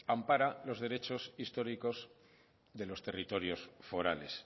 ampara los derechos históricos de los territorios forales